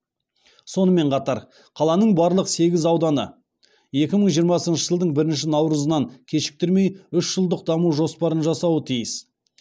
сонымен қатар қаланың барлық сегіз ауданы екі мың жиырмасыншы жылдың бірінші наурызынан кешіктірмей үш жылдық даму жоспарын жасауы тиіс